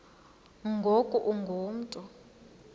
ngoku ungu mntu